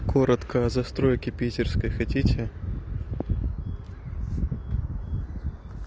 коротко о застройке питерской хотите